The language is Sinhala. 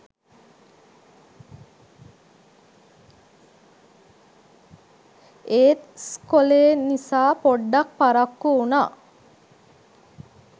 එත් ස්කොලේනිසා පොඩ්ඩක් පරක්කු උනා